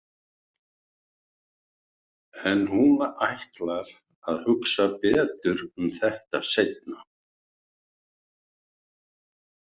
En hún ætlar að hugsa betur um þetta seinna.